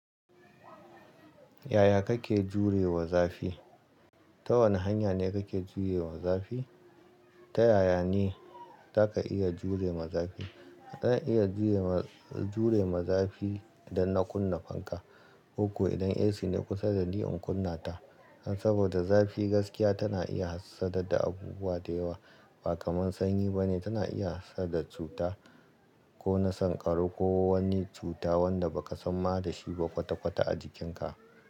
Yaya kake jure wa zafi? Ta wane hanya ne kake jure wa zafi? Ta yaya ne za ka iya jure ma zafi? Zan iya jure ma, jure ma zafi idan na kunna fanka. Kokko idan AC ne kusa da ni in kunna ta. Saboda zafi gaskiya tana iya hassadar da abubuwa da yawa, ba kamar sanyi ba ne, tana iya hasadar cuta ko na sankaro, ko wani cuta wanda baka sanma da shi ba kwata-kwata a jikinka.